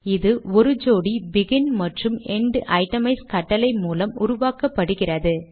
இது ஒரு ஜோடி பிகின் மற்றும் என்ட் ஐடமைஸ் கட்டளை மூலம் உருவாக்கப்படுகிறது